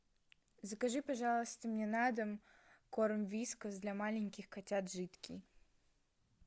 закажи пожалуйста мне на дом корм вискас для маленьких котят жидкий